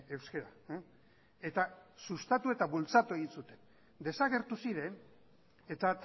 euskara eta sustatu eta bultzatu egin zuten desagertu ziren eta